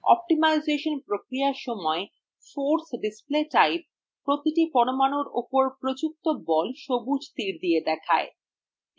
optimisation প্রক্রিয়ার সময়: force display type প্রতিটি পরমাণুর উপর প্রযুক্ত বল সবুজ তীর দিয়ে দেখায়